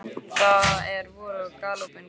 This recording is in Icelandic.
Það er vor og galopinn gluggi.